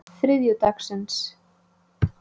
þriðjudagsins